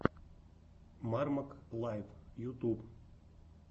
мармок лайв ютуб